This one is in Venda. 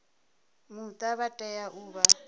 muta vha tea u vha